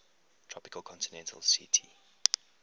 tropical continental ct